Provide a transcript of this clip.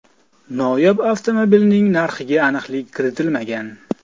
Noyob avtomobilning narxiga aniqlik kiritilmagan.